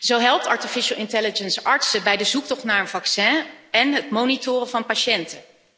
Zo helpt artificiële intelligentie artsen bij de zoektocht naar een vaccin en het monitoren van patiënten.